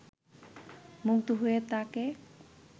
মুগ্ধ হয়ে তাঁকে